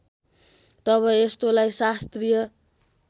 तब यस्तोलाई शास्त्रीय